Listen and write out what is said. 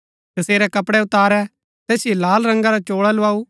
तसेरै कपड़ै उतारै तैसिओ लाल रंगा रा चोळा लुआऊ